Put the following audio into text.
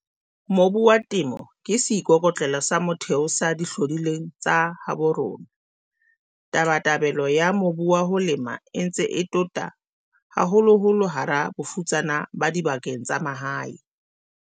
Mobu wa Temo ke seikoko tlelo sa motheo sa dihlodi lweng tsa habo rona. Tabatabelo ya mobu wa ho lema e ntse e tota, haholoholo hara bafutsana ba dibakeng tsa mahae.